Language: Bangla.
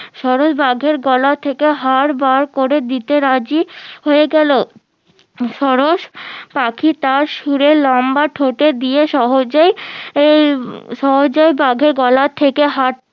সরস বাঘের গলা থেকে হার বার করে দিতে রাজি হয়ে গেলো সরস পাখি তার সুরে লম্বা ঠোঁটে দিয়ে সহজেই সহজেই বাঘে গলা থেকে হার